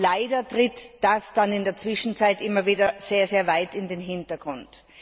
Leider tritt das dann in der Zwischenzeit immer wieder sehr weit in den Hintergrund.